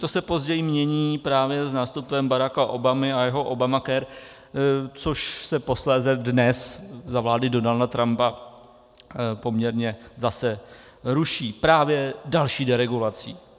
To se později mění právě s nástupem Baracka Obamy a jeho Obamacare, což se posléze dnes za vlády Donalda Trumpa poměrně zase ruší právě další deregulací.